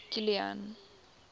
kilian